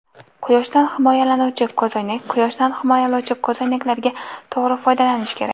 Quyoshdan himoyalovchi ko‘zoynak Quyoshdan himoyalovchi ko‘zoynaklardan to‘g‘ri foydalanish kerak.